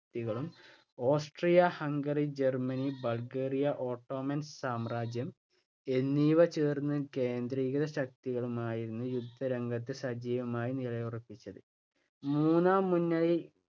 കളും Austria Hungary, Germany, Bulgaria, Ottoman സാമ്രാജ്യം എന്നിവ ചേർന്ന് കേന്ദ്രീയശക്തികളുമായിരുന്നു യുദ്ധരംഗത്ത് സജീവമായി നിലയുറപ്പിച്ചത്. മൂന്നാം മുന്നണി